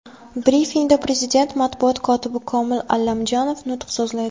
Brifingda Prezident matbuot kotibi Komil Allamjonov nutq so‘zlaydi.